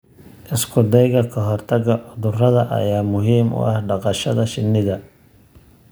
Isku dayga ka hortagga cudurrada ayaa muhiim u ah dhaqashada shinnida.